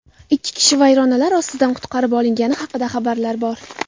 Ikki kishi vayronalar ostidan qutqarib olingani haqida xabarlar bor.